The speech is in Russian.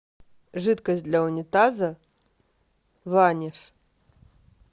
жидкость для унитаза ваниш